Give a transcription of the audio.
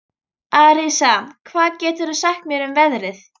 Arisa, hvað geturðu sagt mér um veðrið?